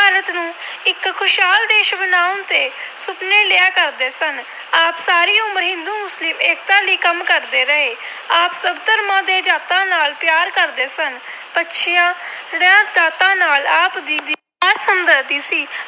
ਸੁਪਨੇ ਲਿਆ ਕਰਦੇ ਸਨ। ਆਪ ਸਾਰੀ ਉਮਰ ਹਿੰਦੂ-ਮੁਸਲਿਮ ਏਕਤਾ ਲਈ ਕੰਮ ਕਰਦੇ ਰਹੇ। ਆਪ ਸਭ ਧਰਮਾਂ ਤੇ ਜਾਤਾਂ ਨਾਲ ਪਿਆਰ ਕਰਦੇ ਸਨ। ਪੱਛੜੀਆਂ ਜਾਤਾਂ ਨਾਲ ਆਪ ਜੀ ਦੀ ਖਾਸ ਹਮਦਰਦੀ ਸੀ।